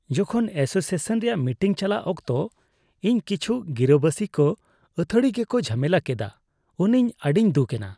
ᱡᱚᱠᱷᱚᱱ ᱮᱥᱳᱥᱤᱭᱮᱥᱚᱱ ᱨᱮᱭᱟᱜ ᱢᱤᱴᱤᱝ ᱪᱟᱞᱟᱜ ᱚᱠᱛᱚ ᱤᱧ ᱠᱤᱪᱷᱩ ᱜᱤᱨᱟᱹᱵᱟᱹᱥᱤ ᱠᱚ ᱟᱹᱛᱷᱟᱹᱲᱤ ᱜᱮᱠᱚ ᱡᱷᱟᱢᱮᱞᱟ ᱠᱮᱫᱟ ᱩᱱ ᱤᱧ ᱟᱹᱰᱤᱧ ᱫᱩᱠ ᱮᱱᱟ ᱾